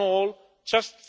All in all, just